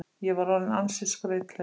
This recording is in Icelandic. Ég var orðinn ansi skrautlegur.